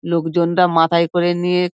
লোকজন রা মাথায় করে নিয়ে--